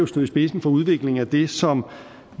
stod i spidsen for udviklingen af det som